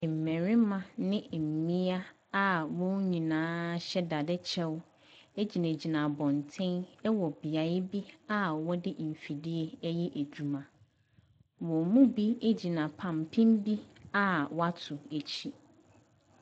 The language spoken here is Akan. Mmarima ne mmea a wɔn nyinaa hyɛ dadekyɛw gyinagyina abɔnten wɔ beae bi a wɔde mfidie ɛreyɛ adwuma, wɔn mu bi gyina pampen bi a wɔato akyi.